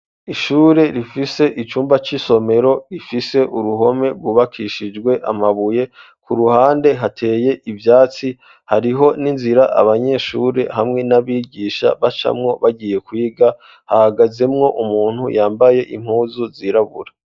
Ishure rifise icumba c'isomero rifise uruhome rwubakishijwe amabuye ku ruhande hateye ivyatsi hariho n'inzira abanyeshuri hamwe n'abigisha bacamwo bagiye kwiga hahagazemwo umuntu yambaye impuzu zirabura.